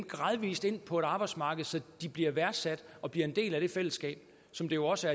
gradvis ind på arbejdsmarkedet så de bliver værdsat og bliver en del af det fællesskab som det jo også